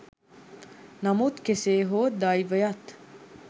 නමුත් කෙසේ හෝ දෛවයත්